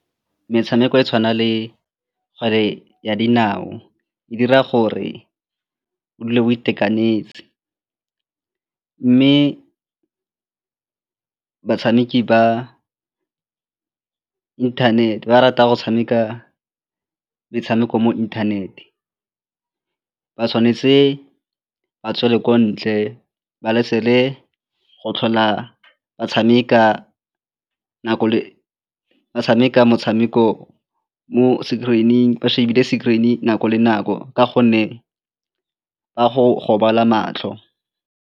Metshameko e tshwanang le kgwele ya dinao e dira gore o dule o itekanetse mme batshameki ba inthanete ba rata go tshameka metshameko mo inthanete, ba tshwanetse ba tswele ko ntle ba go tlhola ba tshameka nako ba tshameka motshameko mo screen-ing ba shebe le screen-i nako le nako ka gonne ba go gobala matlho.